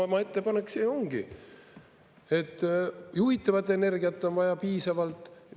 Isamaa ettepanek see ju ongi, et juhitavat energiat on vaja piisavalt.